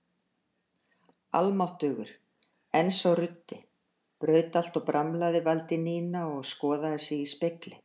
Almáttugur, en sá ruddi, braut allt og bramlaði vældi Nína og skoðaði sig í spegli.